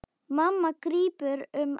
Mamma grípur um axlir hans.